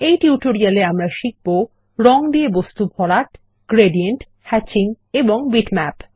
এই টিউটোরিয়ালে আমরা শিখব রঙ দিয়ে বস্তু ভরাট গ্রেডিয়েন্ট হ্যাচিং এবং বিটম্যাপ